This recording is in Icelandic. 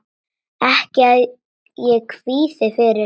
Ekki að ég kvíði fyrir.